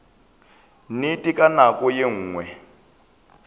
nnete ka nako ye nngwe